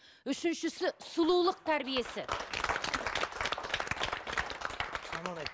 үшіншісі сұлулық тәрбиесі